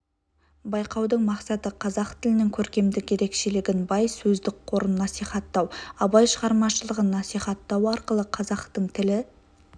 байқаудың мақсаты қазақ тілінің көркемдік ерекшелігін бай сөздік қорын насихаттау абай шығармашылығын насихаттау арқылы қазақтың тілі